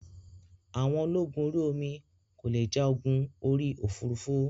Àwọn ológun orí omi kò le ja ogun orí òfurufú